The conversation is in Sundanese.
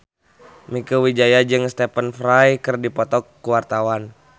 Mieke Wijaya jeung Stephen Fry keur dipoto ku wartawan